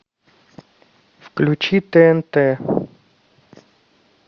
включи тнт